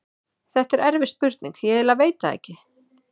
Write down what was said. Þetta er erfið spurning, ég eiginlega veit það ekki.